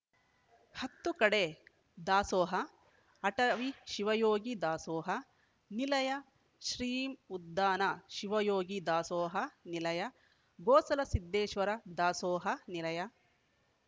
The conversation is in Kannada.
ಹತ್ತು ಕಡೆ ದಾಸೋಹ ಅಟವಿ ಶಿವಯೋಗಿ ದಾಸೋಹ ನಿಲಯ ಶ್ರೀ ಉದ್ದಾನ ಶಿವಯೋಗಿ ದಾಸೋಹ ನಿಲಯ ಗೋಸಲ ಸಿದ್ಧೇಶ್ವರ ದಾಸೋಹ ನಿಲಯ